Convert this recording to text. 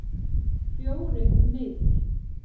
Fjórir niður.